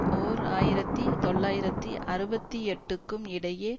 ஓர் ஆயிரத்தி தொள்ளாயிரத்தி அறுபத்தி எட்டுக்கும் இடையே